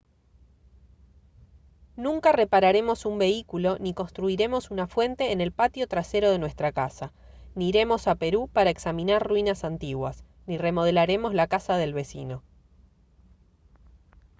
nunca repararemos un vehículo ni construiremos una fuente en el patio trasero de nuestra casa ni iremos a perú para examinar ruinas antiguas ni remodelaremos la casa del vecino